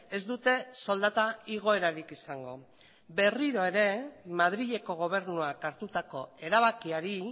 ez dute soldata igoerarik izango berriro ere madrileko gobernuak hartutako erabakiari